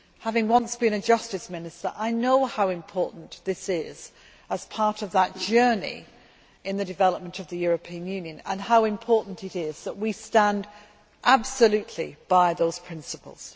Having once been a justice minister I know how important this is as part of that journey in the development of the European Union and how important it is that we stand absolutely by those principles.